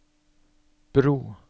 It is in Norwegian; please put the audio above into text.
bro